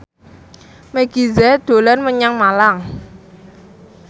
Meggie Z dolan menyang Malang